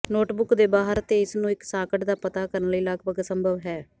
notebook ਦੇ ਬਾਹਰ ਤੇ ਇਸ ਨੂੰ ਇੱਕ ਸਾਕਟ ਦਾ ਪਤਾ ਕਰਨ ਲਈ ਲਗਭਗ ਅਸੰਭਵ ਹੈ